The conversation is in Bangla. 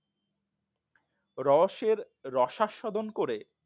রসের রসা সাধন করে